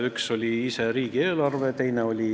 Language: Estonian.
Üks oli riigieelarve ise.